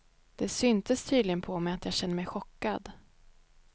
Det syntes tydligen på mig att jag kände mig chockad.